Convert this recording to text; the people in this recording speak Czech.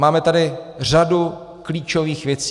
Máme tady řadu klíčových věcí.